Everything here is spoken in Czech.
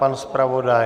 Pan zpravodaj?